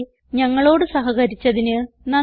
ഞങ്ങളോട് സഹകരിച്ചതിന് നന്ദി